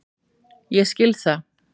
Ég skil það.